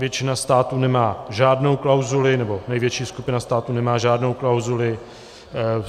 Většina států nemá žádnou klauzuli, nebo největší skupina států nemá žádnou klauzuli.